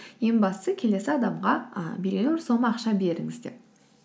ең бастысы келесі адамға і белгілі бір сома ақша беріңіз деп